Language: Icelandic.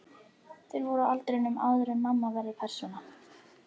Þær voru á aldrinum áður en mamma verður persóna.